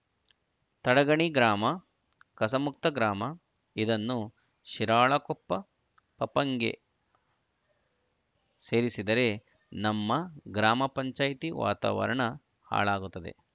ತಡಗಣಿ ಗ್ರಾಮ ಕಸಮುಕ್ತ ಗ್ರಾಮ ಇದನ್ನು ಶಿರಾಳಕೊಪ್ಪ ಪಪಂಗೆ ಸೇರಿಸಿದರೆ ನಮ್ಮ ಗ್ರಾಮ ಪಂಚಾಯತಿ ವಾತಾವರಣ ಹಾಳಾಗುತ್ತದೆ